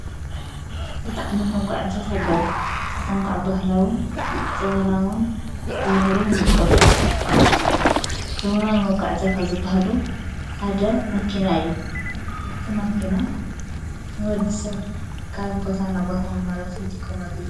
ክልጥዕነት መጕዕታት ኣለዉ ሰተንቋዕ ባህላውን ዘበናውን ታብሂሎም ይምቖሉ ዘጐና መቛዕታ ኸዝበሃሉ ሓደ ማኪና እዩ እቲ ማኪና ንወድ ሰቕ ካብ ቦታ ናቦታን መረስን ትቆመሉ ዩ።